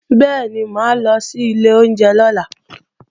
Bẹ́ẹ̀ni, mà á lọ sí ilé oúnjẹ lọ́la